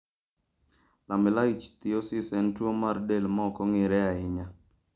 Lamellar ichthyosis en tuwo mar del ma ok ong'ere ahinya.